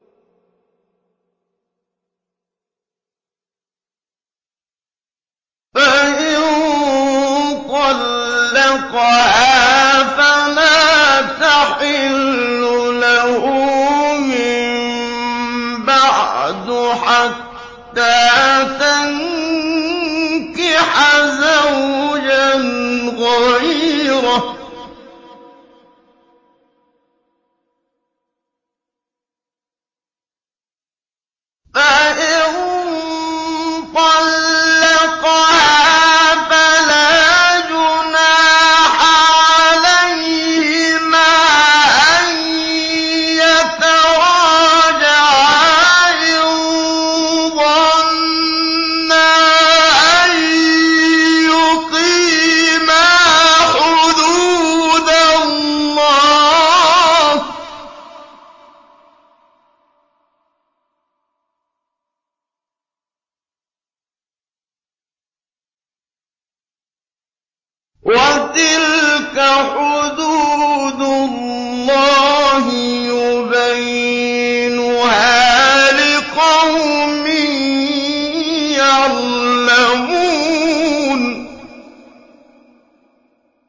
فَإِن طَلَّقَهَا فَلَا تَحِلُّ لَهُ مِن بَعْدُ حَتَّىٰ تَنكِحَ زَوْجًا غَيْرَهُ ۗ فَإِن طَلَّقَهَا فَلَا جُنَاحَ عَلَيْهِمَا أَن يَتَرَاجَعَا إِن ظَنَّا أَن يُقِيمَا حُدُودَ اللَّهِ ۗ وَتِلْكَ حُدُودُ اللَّهِ يُبَيِّنُهَا لِقَوْمٍ يَعْلَمُونَ